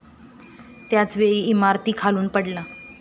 त्याच वेळी इमारतीखालून पडला.